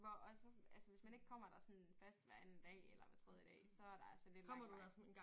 Hvor også sådan altså hvis man ikke kommer der sådan fast hver anden dag eller hver tredje dag så er der altså lidt lang vej